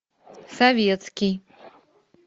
советский